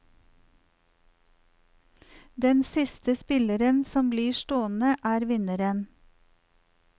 Den siste spilleren som blir stående, er vinneren.